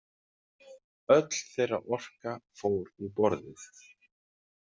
Öll þeirra orka fór í borðið.